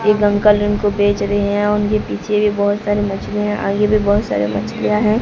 एक अंकल उनको बेच रहे हैं उनके पीछे भी बहोत सारी मछलीया है आगे भी बहोत सारे मछलियां हैं।